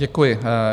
Děkuji.